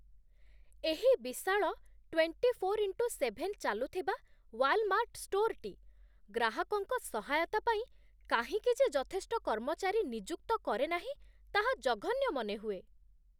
ଏହି ବିଶାଳ twenty four into seven ଚାଲୁଥିବା ୱାଲ୍‌ମାର୍ଟ୍ ଷ୍ଟୋର୍‌ଟି ଗ୍ରାହକଙ୍କ ସହାୟତା ପାଇଁ କାହିଁକି ଯେ ଯଥେଷ୍ଟ କର୍ମଚାରୀ ନିଯୁକ୍ତ କରେନାହିଁ, ତାହା ଜଘନ୍ୟ ମନେହୁଏ।